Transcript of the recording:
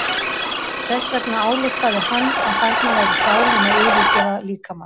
Þess vegna ályktaði hann að þarna væri sálin að yfirgefa líkamann.